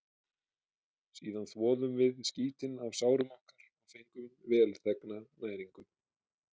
Síðan þvoðum við skítinn af sárum okkar og fengum velþegna næringu.